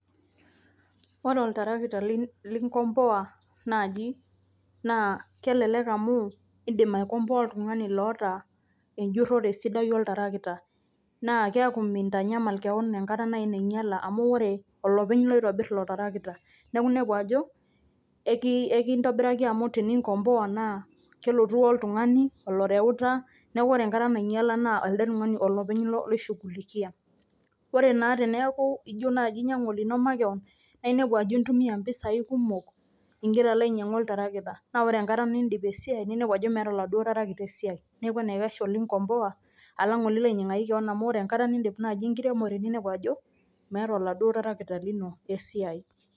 Ore oltarakita linkompoa naaji naa kelelek amu indim aikomboa oltung'ani loota enjurrore sidai oltarakita naa keeku mintanyamal keon enkata nai nainyala amu, ore olopeny loitobirr ilo tarakita. Neeku inepu ajo ekintobiraki amu teninkompoa naa kelotu woltung'ani oloreuta naa ore enkata nainyala naa elde tung'ani olopeny loishughulikia. Ore naa teneeku ijo naaji ijo inyang'u olino makeon naa inepu ajo intumia impisai kumok ing'ira alo ainyang'u oltarakita naa ore enkata niindip esiai ninepu ajo meeta oladuo tarakita esiai. Neeku enaikash eninkompoa alang' olilo ainyang'aki keon amu ore enkata niidip naaji enkiremore ninepu ajo meeta oladuo tarakita lino esiai.